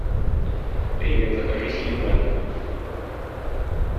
привет закажи силит бенг